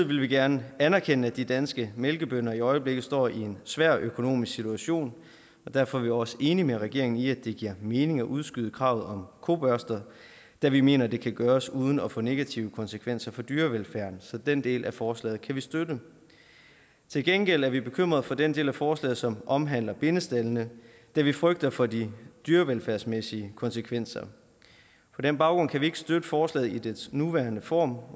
vil vi gerne anerkende at de danske mælkebønder i øjeblikket står i en svær økonomisk situation derfor er vi også enige med regeringen i at det giver mening at udskyde kravet om kobørster da vi mener det kan gøres uden at få negative konsekvenser for dyrevelfærden så den del af forslaget kan vi støtte til gengæld er vi bekymret for den del af forslaget som omhandler bindestaldene da vi frygter for de dyrevelfærdsmæssige konsekvenser på den baggrund kan vi ikke støtte forslaget i dets nuværende form